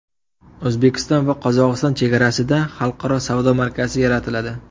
O‘zbekiston va Qozog‘iston chegarasida xalqaro savdo markazi yaratiladi.